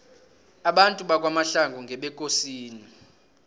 abantu bakwamahlangu ngebekosini